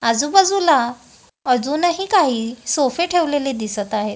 आजूबाजूला अजूनही काही सोफे ठेवलेले दिसत आहेत.